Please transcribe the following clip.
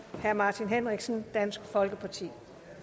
herre martin henriksen dansk folkeparti